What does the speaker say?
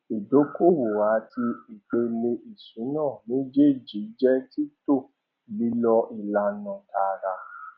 ìdókòwò àti ìpele ìṣúná méjèèjì jẹ títò lílo ìlànà tààrà